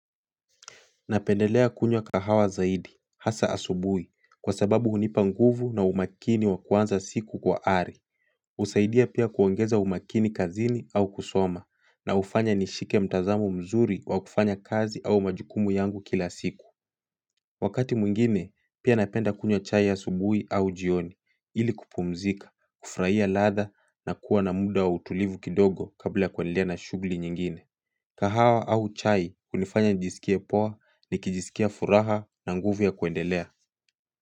Napendelea kunywa kahawa zaidi, hasa asubuhi, kwa sababu hunipa nguvu na umakini wa kuanza siku kwa ari. Husaidia pia kuongeza umakini kazini au kusoma, na hufanya nishike mtazamo mzuri wa kufanya kazi au majukumu yangu kila siku. Wakati mwingine, pia napenda kunywa chai asubuhi au jioni, ili kupumzika, kufurahia ladha, na kuwa na muda wa utulivu kidogo kabla ya kuendelea na shughuli nyingine. Kahawa au chai hunifanya njisikie poa nikijisikia furaha na nguvu ya kuendelea.